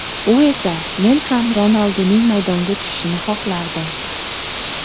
U esa: Men ham Ronalduning maydonga tushishini xohlardim.